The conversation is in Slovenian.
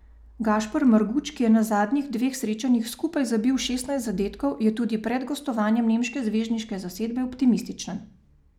Gašper Marguč, ki je na zadnjih dveh srečanjih skupaj zabil šestnajst zadetkov, je tudi pred gostovanjem nemške zvezdniške zasedbe optimističen.